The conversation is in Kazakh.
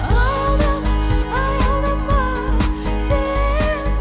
аялдама аялдама сен